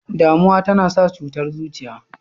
Damuwa tana sa cutar zuciya.